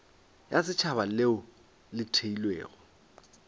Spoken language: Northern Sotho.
ya setšhaba leo le theilwego